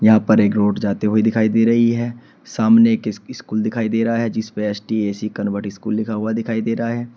यहां पर एक रोड जाते हुए दिखाई दे रही है। सामने एक इस स्कूल दिखाई दे रहा है जिसपे एस_टी_ए_सी कनवट स्कूल लिखा हुआ दिखाई दे रहा है।